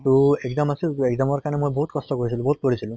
তʼ exam আছিল, exam ৰ কাৰণে মই বহুত কষ্ট কৰিছিলো, বহুত পঢ়িছিলো